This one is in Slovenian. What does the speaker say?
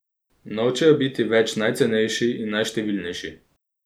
Nočejo biti več najcenejši in najštevilnejši.